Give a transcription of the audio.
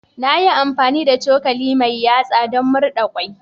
Na yi amfani da cokali mai yatsa don murɗa kwai.